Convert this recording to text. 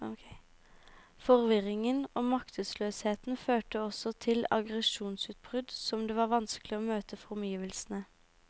Forvirringen og maktesløsheten førte også til aggresjonsutbrudd som det var vanskelig å møte for omgivelsene.